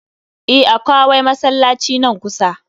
E, akawai masallaci nan kusa.